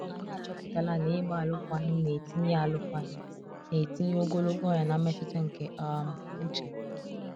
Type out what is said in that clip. anyi achọpụtala na ịgba alụkwaghim na etinye alụkwaghim na etinye ogologo ọnya na mmetụta nke um uche